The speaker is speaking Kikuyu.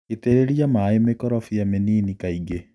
itĩrĩria maĩ mĩkorobia mĩnini kaingĩ.